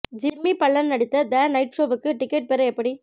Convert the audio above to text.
Jimmy Fallon the night நைட் ஷோவுக்கு ticket பெற எப்படி